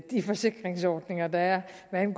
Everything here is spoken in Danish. man